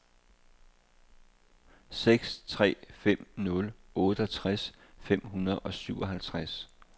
seks tre fem nul otteogtres fem hundrede og syvoghalvtreds